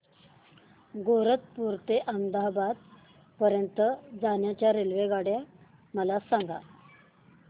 गैरतपुर ते अहमदाबाद पर्यंत च्या रेल्वेगाड्या मला सांगा